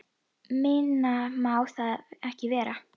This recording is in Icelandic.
Minna má það ekki vera.